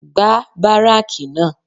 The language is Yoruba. Gbá báráàkì náà